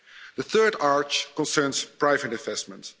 The third arch concerns private investment.